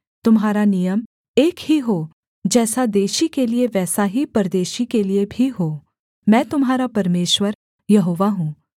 तुम्हारा नियम एक ही हो जैसा देशी के लिये वैसा ही परदेशी के लिये भी हो मैं तुम्हारा परमेश्वर यहोवा हूँ